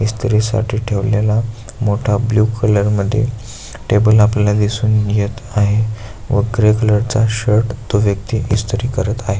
इस्त्री साठी ठेवलेला मोठा ब्लु कलर मध्ये टेबल आपल्याला दिसून येत आहे व ग्रे कलर चा शर्ट तो व्यक्ति इस्त्री करत आहे.